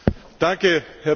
Herr Präsident!